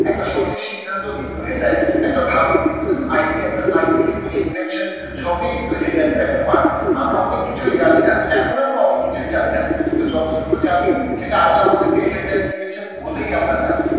একটা সঠিক সিদ্ধান্তও কিন্তু হেদায়েত। একটা ভালো business idea একটা scientific invention সবই কিন্তু হেদায়েতের একটা part আমরা অনেক কিছুই জানি না, এখন আমরা অনেক কিছুই জানি না কিন্তু যত টুকু জানি সেটা আল্লাহ আমাদেরকে হেদায়েত দিয়েছেন বলেই আমরা জানি,